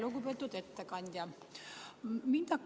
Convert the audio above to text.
Lugupeetud ettekandja!